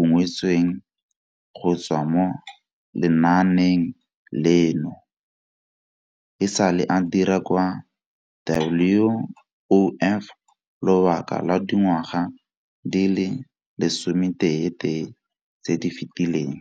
ungwetsweng go tswa mo lenaaneng leno. E sale a dira kwa WOF lobaka lwa dingwaga di le 11 tse di fetileng.